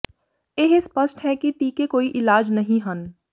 ਇਹ ਸਪਸ਼ਟ ਹੈ ਕਿ ਟੀਕੇ ਕੋਈ ਇਲਾਜ ਨਹੀਂ ਹਨ